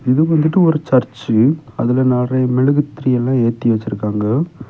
இது வந்துட்டு ஒரு சர்ச்சு அதுல நெறைய மெழுகுத்திரி எல்லா ஏத்தி வெச்சிருக்காங்க.